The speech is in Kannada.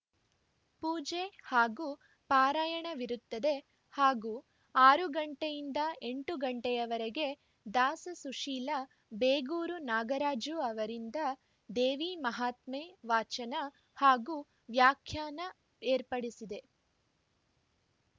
ಪೂಜೆ ಹಾಗೂ ಪಾರಾಯಣವಿರುತ್ತದೆ ಹಾಗೂ ಆರು ಗಂಟೆಯಿಂದ ಎಂಟು ಗಂಟೆಯವರೆಗೆ ದಾಸ ಸುಶೀಲ ಬೇಗೂರು ನಾಗರಾಜು ಅವರಿಂದ ದೇವಿ ಮಹಾತ್ಮೆ ವಾಚನ ಹಾಗೂ ವಾಖ್ಯಾನ ಏರ್ಪಡಿಸಿದೆ